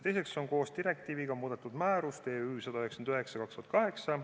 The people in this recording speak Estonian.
Teiseks on koos direktiiviga muudetud määrust EÜ/199/2008.